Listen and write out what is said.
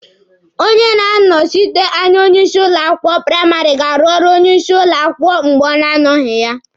Onye na-anọsite anya onye isi ụlọ akwụkwọ praịmarị ga-arụ ọrụ onye isi ụlọ akwụkwọ mgbe ọ na-anọghị ya.